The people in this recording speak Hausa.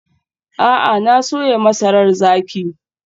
A'a, na soya masarar zaki.